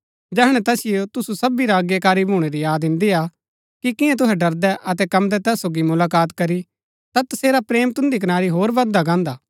जैहणै तैसिओ तुसु सबी रा अज्ञाकारी भूणै री याद इन्दीआ कि कियां तुहै डरदै अतै कम्मदै तैस सोगी मुलाकात करी ता तसेरा प्रेम तुन्दी कनारी होर बददा गान्दा